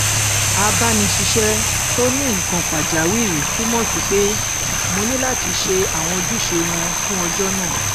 abániṣiṣẹ tó ní nnkkan pàjáwìrì túmọ sí pé mo ní láti ṣe àwọn ojúṣe wọn fún ọjọ náà